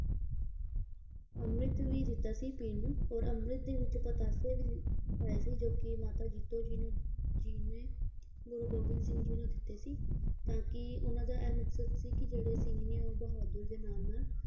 ਅੰਮ੍ਰਿਤ ਵੀ ਦਿੱਤਾ ਸੀ ਪੀਣ ਨੂੰ ਔਰ ਅੰਮ੍ਰਿਤ ਦੇ ਵਿੱਚ ਪਤਾਸੇ ਵੀ ਪਾਏ ਸੀ ਜੋ ਕੀ ਮਾਤਾ ਜੀਤੋ ਜੀ ਨੂੰ ਜੀ ਨੇ ਗੁਰੂ ਗੋਬਿੰਦ ਸਿੰਘ ਜੀ ਨੂੰ ਦਿੱਤੇ ਸੀ ਤਾਂ ਕੀ ਉਹਨਾਂ ਦਾ ਇਹ ਮਕਸਦ ਸੀ ਕੀ ਜਿਹੜੇ ਸਿੰਘ ਨੇ ਉਹ ਬਹਾਦਰ ਦੇ ਨਾਲ ਨਾਲ